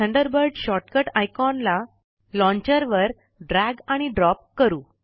Thunderbird shortcut icon ला launcher वर drag आणि ड्रॉप करु